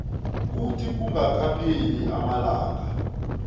kuthi kungakapheli amalanga